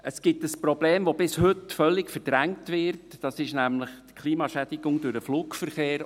Es gibt ein Problem, das bis heute völlig verdrängt wird, nämlich die Klimaschädigung durch den Flugverkehr.